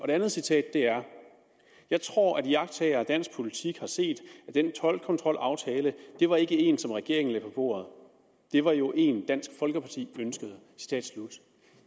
det andet citat er jeg tror at iagttagere af dansk politik har set at den toldkontrolaftale det var ikke én som regeringen lagde på bordet det var jo én dansk folkeparti ønskede